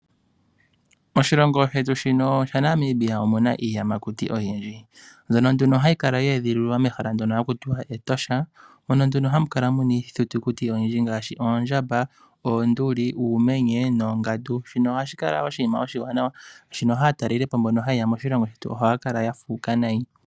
Oshilongo shetu shino shaNamibia omuna iiyamakuti oyindji mbyono nduno hayi kala yeedhililwa mehala moka haku tiwa Etosha mono ihe hamu kala muna iithitukuti oyindji ngaashi oondjamba ,oonduli ,uumenye noongandu shino ohashi kala oshinima oshiwanawa oshoka aataleli po mboka tayeya moshilongo shetu ohaya kala ya fuuka nayi.